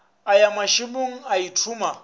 a ya mašemong a ithoma